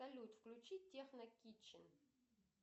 салют включи техно китчен